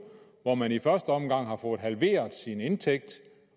hvor man i første omgang har fået halveret sin indtægt